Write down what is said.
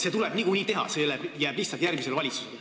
See tuleb niikuinii teha, see jääb lihtsalt järgmisele valitsusele.